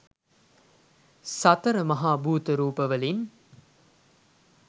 සතර මහා භූත රූපවලින්